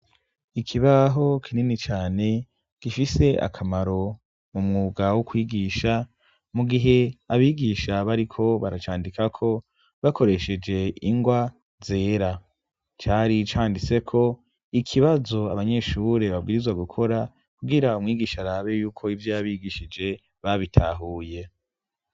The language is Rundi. ikibaho kinini cane gifise akamaro mumwuga wo kwigisha mugihe abigisha bariko baracandikako bakoresheje ingwa zera cari canditseko ikibazo abanyeshure babwirizwa gukora kubwira umwigisha rabeyuko ivyo yabigishije babitahuye